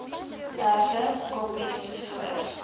berge koppies voor